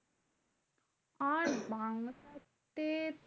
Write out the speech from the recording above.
আর বাংলাতে